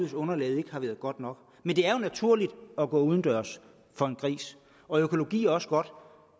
et underlag der ikke har været godt nok men det er jo naturligt at gå udendørs for en gris og økologi er også godt